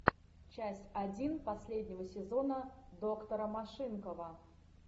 часть один последнего сезона доктора машинкова